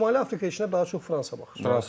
Amma Şimali Afrika içində daha çox Fransa baxır.